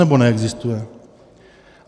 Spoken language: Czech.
Nebo neexistuje?